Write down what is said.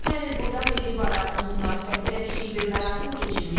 Ötən il burada milli bayramınız münasibətilə kiçik bir mərasim keçirmişdik.